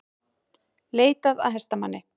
Leitað að hestamanni